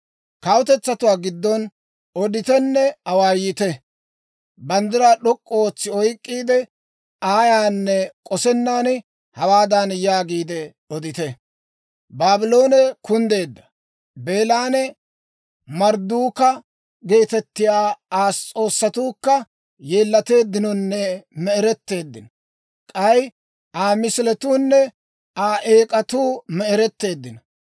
«Kawutetsatuwaa giddon oditenne awaayite. Banddiraa d'ok'k'u ootsi oyk'k'iide, ayaanne k'osennan, hawaadan yaagiide odite; ‹Baabloone kunddeedda! Beelanne Mardduuka geetettiyaa Aa s'oossatuukka yeellateeddinonne me"eretteeddino. K'ay Aa misiletuunne Aa eek'atuu me"eretteeddino.